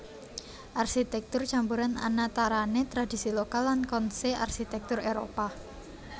Arsitèktur campuran anatarané tradisi lokal lan konsè arsitèktur Éropah